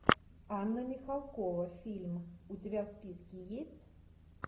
анна михалкова фильм у тебя в списке есть